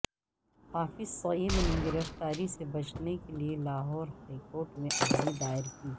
حافظ سعید نے گرفتاری سے بچنے کے لئے لاہور ہائی کورٹ میں عرضی دائر کی